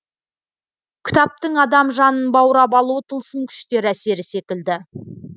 кітаптың адам жанын баурап алуы тылсым күштер әсері секілді